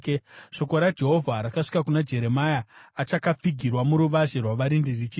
Shoko raJehovha rakasvika kuna Jeremia achakapfigirwa muruvazhe rwavarindi, richiti,